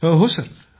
हो हो सर